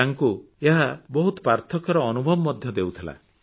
ତାଙ୍କୁ ଏହା ବହୁତ ପାର୍ଥକ୍ୟର ଅନୁଭବ ଦେଉଥିଲା